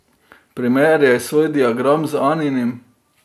Primerjaj svoj diagram z Aninim.